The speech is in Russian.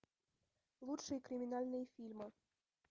лучшие криминальные фильмы